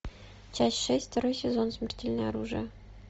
часть шесть второй сезон смертельное оружие